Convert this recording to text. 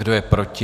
Kdo je proti?